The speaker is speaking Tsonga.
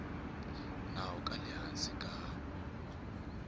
nawu ka le hansi ka